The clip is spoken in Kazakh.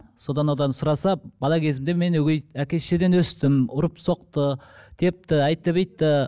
содан одан сұраса бала кезімде мен өгей әке шешеден өстім ұрып соқты депті